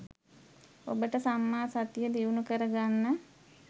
ඔබට සම්මා සතිය දියුණු කරගන්න